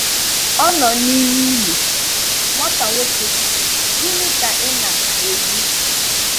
Ọ nọ n'ime ili, nwata nwoke, gịnị ka ị na - ekwu?